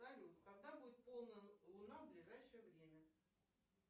салют когда будет полная луна в ближайшее время